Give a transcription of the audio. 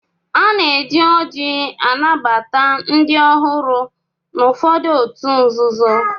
Ana-eji ọ́jị́ anabata ndị ọhụrụ n'ụfọdụ òtù nzuzo.